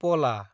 पला